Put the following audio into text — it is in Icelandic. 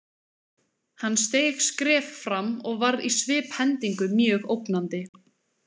Hann steig skref fram og varð í sviphendingu mjög ógnandi.